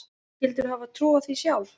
Skyldirðu hafa trúað því sjálf?